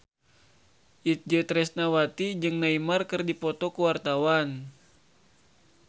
Itje Tresnawati jeung Neymar keur dipoto ku wartawan